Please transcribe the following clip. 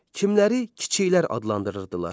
Kimləri kiçiklər adlandırırdılar?